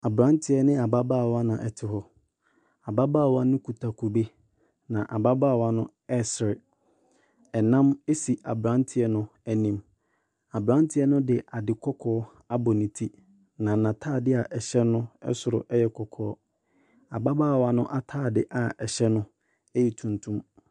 Abranteɛ ne abaabawa na ɛte hɔ. Ababaawa no kita kube, na ababaawa no ɛsere. Ɛnam esi abranteɛ no anim. Abranteɛ no de ade kɔkɔɔ abɔ ne ti. Na n'ataade a ɛhyɛ no ɛsoro ɛyɛ kɔkɔɔ. Ababaawa no ataade a ɛhyɛ no ɛyɛ tuntum.